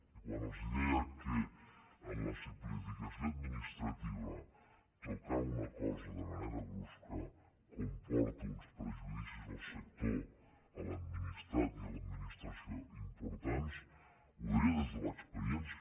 i quan els deia que en la simplificació administrativa tocar una cosa de manera brusca comporta uns perjudicis al sector a l’administrat i a l’administració importants ho deia des de l’experiència